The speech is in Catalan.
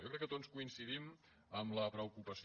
jo crec que tots coincidim en la preocupació